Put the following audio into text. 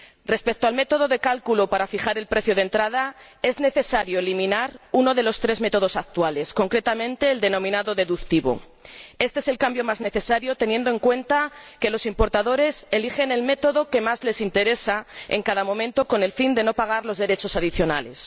Respecto al método de cálculo para fijar el precio de entrada, es necesario eliminar uno de los tres métodos actuales, concretamente el denominado deductivo. Éste es el cambio más necesario, teniendo en cuenta que los importadores eligen el método que más les interesa en cada momento, con el fin de no pagar los derechos adicionales.